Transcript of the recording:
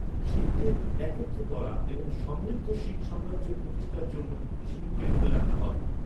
শিখদের একত্র করা এবং সমৃদ্ধ শিখ সাম্রাজ্য প্রতিষ্ঠার জন্য সিংকে মনে রাখা হয়।